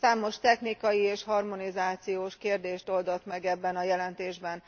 Számos technikai és harmonizációs kérdést oldott meg ebben a jelentésben.